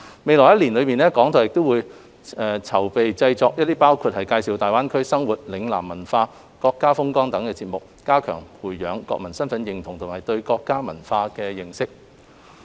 未來一年，港台會籌劃製作包括介紹大灣區生活、嶺南文化、國家風光等的節目，加強培養國民身份認同及對國家文化的認識。